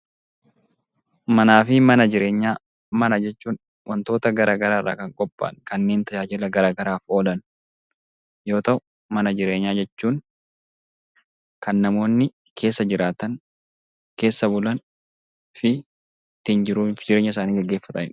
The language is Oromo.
Manaa fi mana jireenyaa Mana jechuun waantota garaagaraa irraa kan qophaa'an kanneen tajaajila garaagaraaf oolan yemmuu ta'u, mana jireenyaa jechuun kan namoonni keessa jiraatan, keessa bulan fi jiruu ittiin jireenya ofii gaggeessanidha.